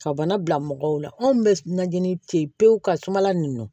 Ka bana bila mɔgɔw la anw bɛ na jenini fe ye pewu ka suma la ninnu